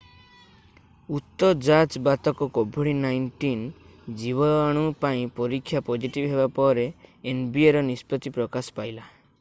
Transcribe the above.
ଉତ ଯାଜ୍ ବାଦକ covid-19 ଜୀବାଣୁ ପାଇଁ ପରୀକ୍ଷା ପଜିଟିଭ୍ ହେବା ପରେ ପରେ nbaର ନିଷ୍ପତ୍ତି ପ୍ରକାଶ ପାଇଲା।